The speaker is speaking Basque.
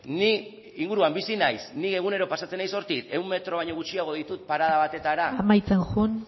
ni inguruan bizi naiz ni egunero pasatzen naiz hortik ehun metro baino gutxiago ditut parada batetara amaitzen joan